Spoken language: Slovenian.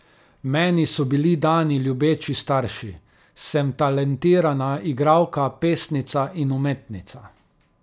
Meni so bili dani ljubeči starši, sem talentirana igralka, pesnica in umetnica.